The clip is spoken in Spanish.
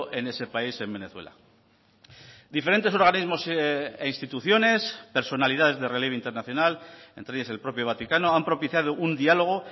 en ese país en venezuela diferentes organismos e instituciones personalidades de relieve internacional entre ellas el propio vaticano han propiciado un dialogo